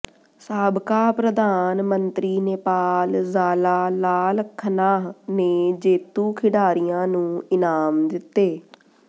ਸਾਬਕਾ ਪ੍ਰਧਾਨ ਮੰਤਰੀ ਨੇਪਾਲ ਜ਼ਾਲਾ ਲਾਲ ਖਨਾਹ ਨੇ ਜੇਤੂ ਖਿਡਾਰੀਆਂ ਨੂੰ ਇਨਾਮ ਦਿੱਤੇ